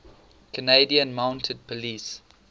canadian mounted police